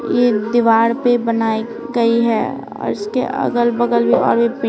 ये दीवार पे बनाई गई है इसके अगल-बगल भी और--